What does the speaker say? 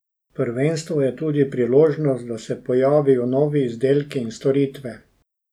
Prvenstvo je tudi priložnost, da se pojavijo novi izdelki in storitve.